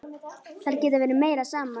Þær geta verið meira saman.